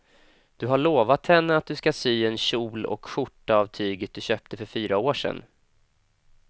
Du har lovat henne att du ska sy en kjol och skjorta av tyget du köpte för fyra år sedan.